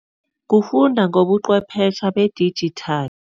Kufunda ngobuqhwephesha bedijithali.